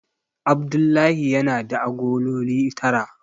Abdullahi yana da agololi tara.